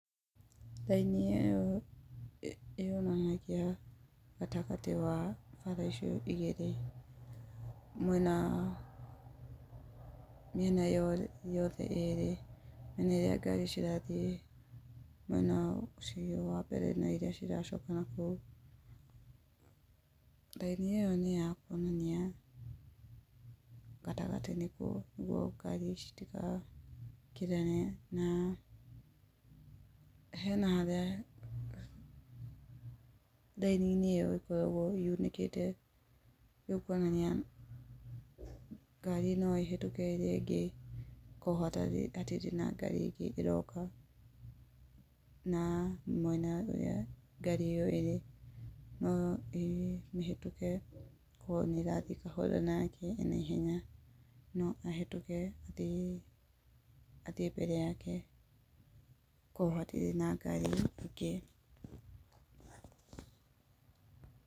Raini ĩyo yonanagia gatagatĩ wa bara icio igĩrĩ, mwena wa mĩena yothe ĩrĩ, na nĩyo ngari cirathiĩ mwena ũcio wa mbere naicio iracoka nakũu. Raini ĩyo nĩ yakuonania gatagatĩ nĩguo ngari ici citigakĩrane, na hena harĩa raini-inĩ ĩyo ĩkoragwo yunĩkĩte kuonania ngari no ĩhetũke ĩrĩa ĩngĩ, korwo hatirĩ na ngari ĩngĩ ĩroka na mwena ũrĩa ngari ĩyo ĩrĩ, no ĩmĩhetũke korwo nĩ ĩrathiĩ kahora nake enaihenya, no ahetũke athiĩ mbere yake, korwo hatirĩ na ngari ĩngĩ.